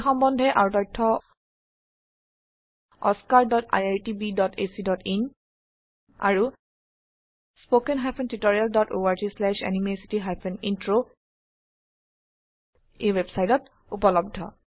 এই সম্বন্ধে আৰু তথ্য oscariitbacইন আৰু httpspoken tutorialorgNMEICT Intro ওয়েবসাইটত উপলব্ধ